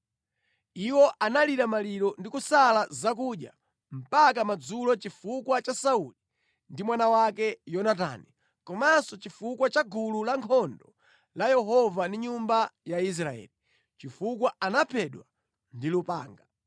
Iwo analira maliro ndi kusala zakudya mpaka madzulo chifukwa cha Sauli ndi mwana wake Yonatani, komanso chifukwa cha gulu la ankhondo la Yehova ndi nyumba ya Israeli, chifukwa anaphedwa ndi lupanga.